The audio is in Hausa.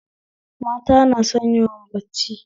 Mata na son yawan bacci